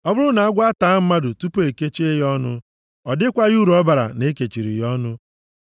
Ọ bụrụ na agwọ ataa mmadụ tupu e kechie ya ọnụ, ọ dịkwaghị uru ọ bara na e kechiri ya ọnụ.